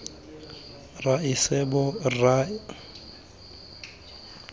raesebo rra re feditse re